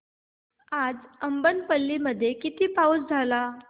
आज अब्बनपल्ली मध्ये किती पाऊस झाला